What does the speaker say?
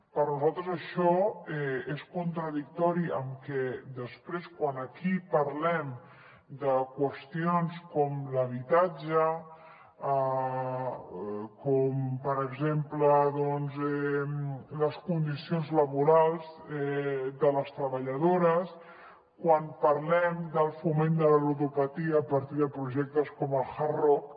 per nosaltres això és contradictori amb que després quan aquí parlem de qüestions com l’habitatge com per exemple les condicions laborals de les treballadores quan parlem del foment de la ludopatia a partir de projectes com el hard rock